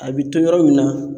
A be to yɔrɔ min na